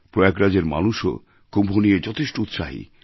প্রয়াগরাজএর মানুষও কুম্ভ নিয়ে যথেষ্ট উৎসাহী